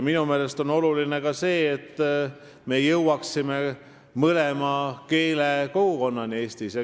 Minu meelest on oluline ka see, et me jõuaksime Eestis mõlema keelekogukonnani.